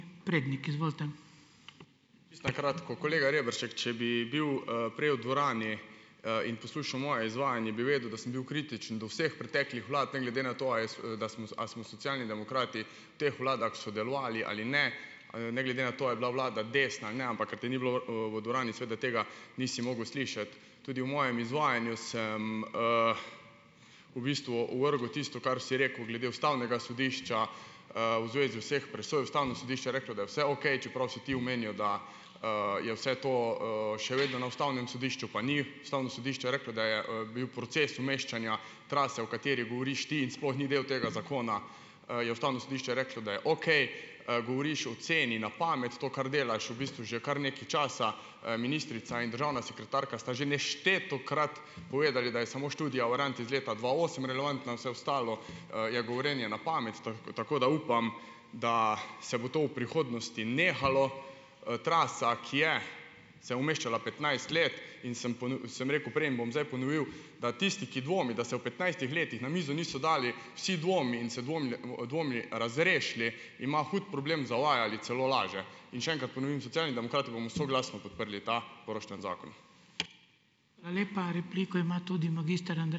Čisto na kratko, kolega Reberšek, če bi bil, prej v dvorani, in poslušal moje izvajanje, bi vedel, da sem bil kritičen do vseh preteklih vlad, ne glede na to da smo a smo Socialni demokrati v teh vladah sodelovali ali ne, ne glede na to, a je bila vlada desna ali ne, ampak ker te ni bilo, v dvorani seveda tega nisi mogel slišati. Tudi v mojem izvajanju sem, v bistvu ovrgel tisto, kar si rekel glede ustavnega sodišča, v zvezi vseh presoj ustavno sodišče je reklo, da je vse okej, čeprav si ti omenjal, da, je vse to, še vedno na ustavnem sodišču, pa ni, Ustavno sodišče je reklo, da je, bil proces umeščanja trase, o kateri govoriš ti in sploh ni del tega zakona, je ustavno sodišče reklo, da je okej, govoriš o ceni na pamet to, kar delaš v bistvu že kar nekaj časa, ministrica in državna sekretarka sta že neštetokrat povedali, da je samo študija iz leta dva osem relevantna, vse ostalo, je govorjenje na pamet, tako da upam, da se bo to v prihodnosti nehalo. Trasa, ki je se umeščala petnajst let, in sem sem rekel, preden bom zdaj ponovil, da tisti, ki dvomi da se v petnajstih letih na mizo niso dali vsi dvomi in se dvomi, dvomi razrešili, ima hud problem, zavaja ali celo laže. In še enkrat ponovim, Socialni demokrati bomo soglasno podprli ta poroštveni zakon.